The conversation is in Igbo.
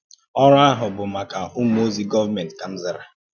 Órụ́ ahụ̀ bụ́ maka Ụ́mù òzì gọọ̀mèntì,” kà m zàrà.